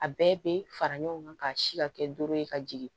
A bɛɛ bɛ fara ɲɔgɔn kan ka si ka kɛ doro ye ka jigin